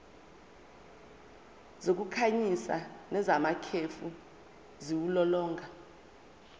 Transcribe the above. zokukhanyisa nezamakhefu ziwulolonga